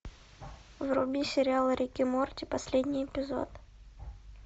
вруби сериал рик и морти последний эпизод